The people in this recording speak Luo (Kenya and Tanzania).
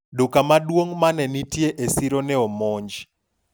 duka maduong' mane nitie e siro ne omonj